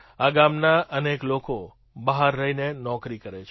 આ ગામના અનેક લોકો બહાર રહીને નોકરી કરે છે